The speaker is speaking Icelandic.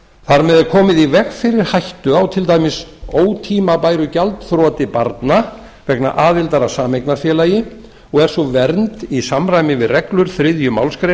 þar með er komið í veg fyrir hættu á til dæmis ótímabæru gjaldþroti barna vegna aðildar að sameignarfélagi og er sú vernd í samræmi við reglur þriðju málsgrein